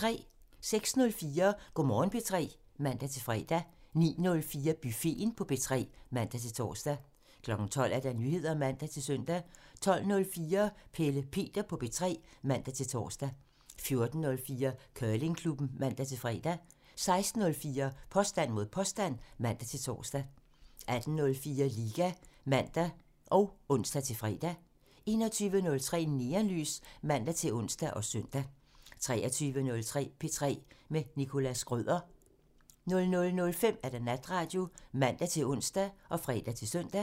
06:04: Go' Morgen P3 (man-fre) 09:04: Buffeten på P3 (man-tor) 12:00: Nyheder (man-søn) 12:04: Pelle Peter på P3 (man-tor) 14:04: Curlingklubben (man-fre) 16:04: Påstand mod påstand (man-tor) 18:04: Liga (man og ons-fre) 21:03: Neonlys (man-ons og søn) 23:03: P3 med Nicholas Schrøder (man) 00:05: Natradio (man-ons og fre-søn)